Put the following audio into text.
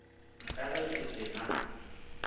ka ge e se na